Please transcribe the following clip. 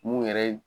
Mun yɛrɛ ye